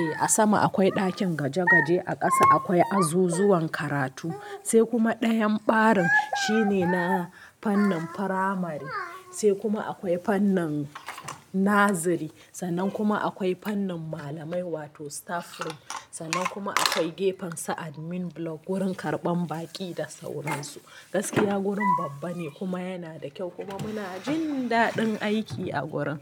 E a sama akwai ɗakin gwaje-gwaje, a ƙasa akwai azuzuwan karatu. Sai kuma ɗayan ɓarin shine na fannin firamare, sai kuma akwai fannin naziri. Sannan kuma akwai fannin malamai wato staff room. Sannan kuma akwai gefen sa admin block, wurin karɓan baƙi da sauran su. Gaskiya wurin babba ne kuma yana da kyau kuma muna jin daɗin aiki a wurin.